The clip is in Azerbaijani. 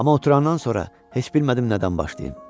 Amma oturandan sonra heç bilmədim nədən başlayım.